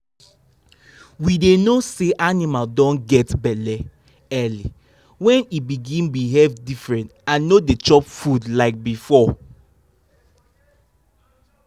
we dey know say animal don get belle early when e begin behave different and no dey chop food like before